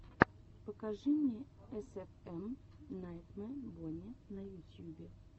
покажи эсэфэм найтмэ бонни на ютьюбе